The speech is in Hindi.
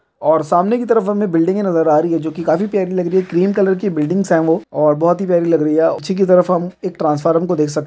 और सामने की तरफ हमें बिल्डिंगे नजर आ रही है जो की काफी प्यारी लग रही है। क्रीम कलर की बिल्डिंगस हैं वो और बहुत ही प्यारी लग रही है। पीछे की तरफ हम एक ट्रांसफार्म को देख सक --